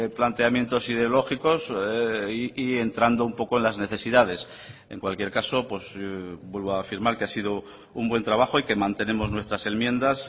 planteamientos y de lógicos y entrando un poco en las necesidades en cualquier caso vuelvo a afirmar que ha sido un buen trabajo y que mantenemos nuestras enmiendas